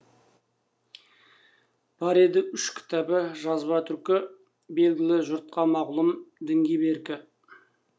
бар еді үш кітабы жазба түркі белгілі жұртқа мағлұм дінге беркі